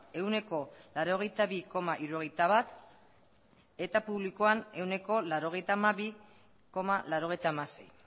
ehuneko laurogeita bi koma hirurogeita bat eta publikoan ehuneko laurogeita hamabi koma laurogeita hamasei